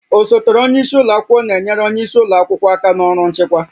Osote onye isi ụlọ akwụkwọ na-enyere onye isi ụlọ akwụkwọ aka na ọrụ nchịkwa